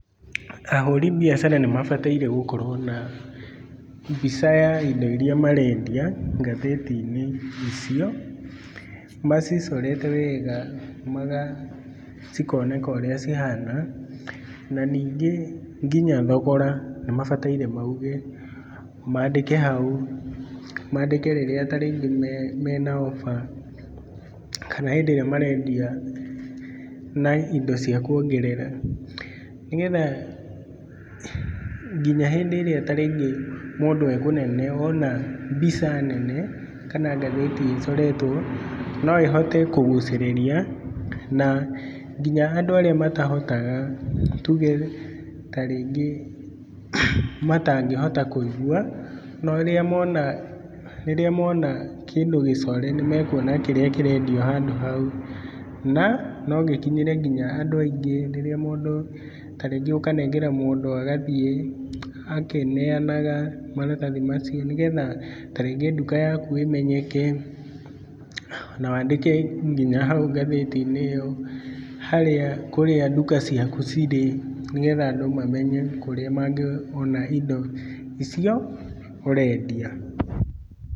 Ahũri biacara nĩ mabataire gũkorwo na, mbica ya indo irĩa marendia ngathĩti-inĩ icio, macicorete wega cikoneka ũrĩa cihana. Na ningĩ nginya thogora nĩ mabataire mauge. mandĩke hau, mandĩke rĩrĩa ta rĩngĩ mena offer kana hĩndĩ ĩrĩa marendia na indo cia kuongerera. Nĩgetha, nginya hĩndĩ ĩrĩa ta rĩngĩ mũndũ e kũnene ona mbica nene kana ngathĩti ĩcoretwo no ĩhote kũgucĩrĩria. Na nginya andũ arĩa matahotaga, tuge ta rĩngĩ, matangĩhota kũigwa, rĩrĩa mona kĩndũ gĩcore nĩ mekuona kĩrĩa kĩrĩa kĩrendio handũ hau. Na no gĩkinyĩre nginya andũ aingĩ rĩrĩa mũndũ, ta rĩngĩ ũkanengera mũndũ agathiĩ akĩneanaga maratathi macio nĩgetha ta rĩngĩ nduka yaku ĩmenyeke, na wandĩke nginya ngathĩti-inĩ ĩyo harĩa kũrĩa nduka ciaku cirĩ, nĩgetha andũ mamenye kũrĩa mangĩona indo icio, ũrendia.